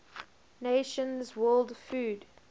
nations world food